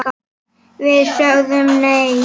Við sögðum nei!